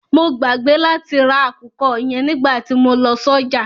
Mo gbàgbé láti ra àkùkọ yẹn nígbàtí mo lọ sọ́jà.